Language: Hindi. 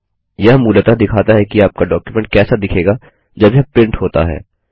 यह मूलतः दिखाता है कि आपका डॉक्युमेंट कैसा दिखेगा जब यह प्रिंट होता है